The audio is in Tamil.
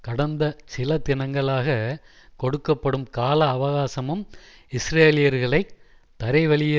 கடந்த சில தினங்களாக கொடுக்க படும் கால அவகாசமும் இஸ்ரேலியர்களை தரைவழியே